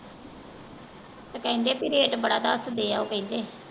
ਤੇ ਕਹਿੰਦੇ ਬਈ rate ਬੜਾ ਦਸਦੇ ਆ ਉਹ ਕਹਿੰਦੇ।